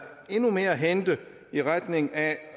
endnu mere at hente i retning af